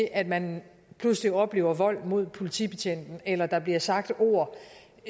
at man pludselig oplever vold mod politibetjenten eller der bliver sagt ord